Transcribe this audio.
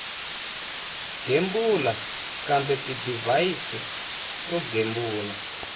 gembula kumbe tidivhayisi to gembula